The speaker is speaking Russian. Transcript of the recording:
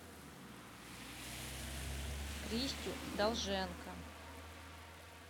кристю долженко